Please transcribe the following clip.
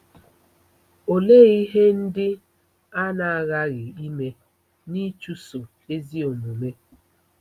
Olee ihe ndị a na-aghaghị ime n'ịchụso ezi omume?